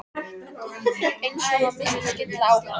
Eins og hann missti skyndilega áhugann.